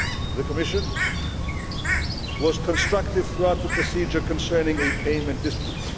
The Commission was constructive throughout the procedure concerning a payment dispute.